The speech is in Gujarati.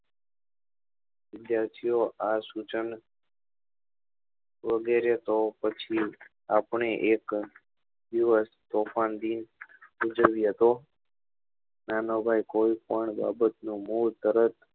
વિદ્યાર્થી ઓ આ સૂચન વગેરે તો પછી આપડે એક દિવસ તોફાન દિન ઉજવીએ તો નાનો ભાઈ કોઈ પણ બાબત નો મોં તરત